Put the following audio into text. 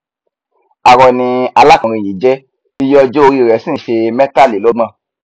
arọ ni alákùnrin yìí jẹ iye ọjọ orí i rẹ sì nṣe mẹtàlélọgbọn